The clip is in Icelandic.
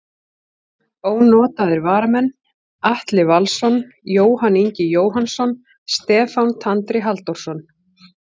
Ónotaðir varamenn: Atli Valsson, Jóhann Ingi Jóhannsson, Stefán Tandri Halldórsson.